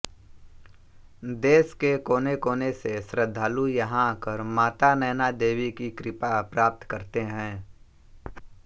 देश के कोनेकोने से श्रद्धालु यहां आकर माता नैना देवी की कृपा प्राप्त करते है